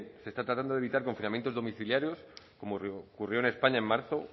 se está tardando de evitar confinamientos en domiciliarios como ocurrió en españa en marzo